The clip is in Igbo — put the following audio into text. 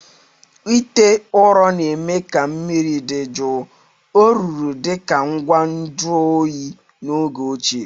ite ụrọ na-eme ka mmiri dị jụụ. ọ rụrụ dị ka ngwa nju oyi n'oge ochie.